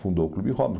Fundou o Clube Robbins.